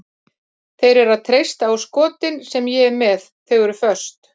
Þeir eru að treysta á skotin sem ég er með, þau er föst.